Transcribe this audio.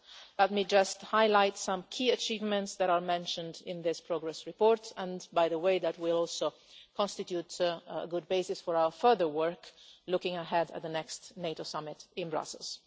Let me just highlight some key achievements that are mentioned in this progress report, which, by the way, will also constitute a good basis for our further work looking ahead to the next NATO summit in Brussels.